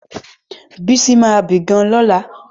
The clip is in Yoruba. Bísí ma bì gan-an lọ́la